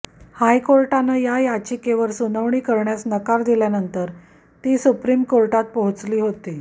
हायकोर्टानं या याचिकेवर सुनावणी करण्यास नकार दिल्यानंतर ती सुप्रीम कोर्टात पोहचली होती